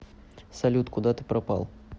салют куда ты пропал